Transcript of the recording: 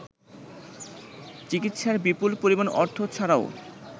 চিকিৎসার বিপুল পরিমাণ অর্থ ছাড়াও